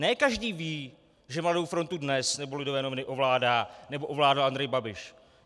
Ne každý ví, že Mladou frontu Dnes nebo Lidové noviny ovládá nebo ovládal Andrej Babiš.